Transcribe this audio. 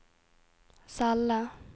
celle